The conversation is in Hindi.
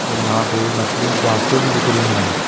और यहां पे मछलियों कि आंखें भी दिख रही है।